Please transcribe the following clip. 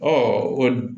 o